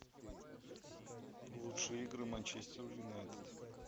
лучшие игры манчестер юнайтед